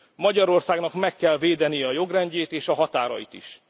Magyarországnak meg kell védenie a jogrendjét és a határait